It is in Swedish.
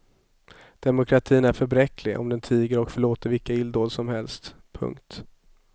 Demokratin är för bräcklig om den tiger och förlåter vilka illdåd som helst. punkt